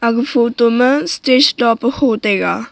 hu photo ma stage to pe hotai ga.